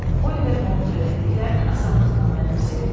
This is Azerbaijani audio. Oliver onun öyrətdiklərini asanlıqla mənimsəyirdi.